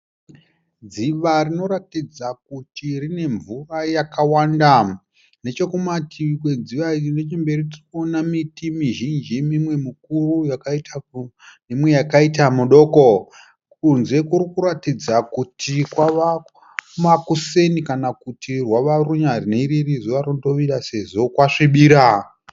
Dziva rinoratidza kuti rine mvura yakawanda nechekumativi kwedziva iri nechemberi tirikuona miti mizhinji mimwe mikuru neimwe yakaita midoko. Kunze kuti kuratidza kuti kwava makuseni kana kuti hwava runyanhiriri zuva rondovira sezvo kwasvibira.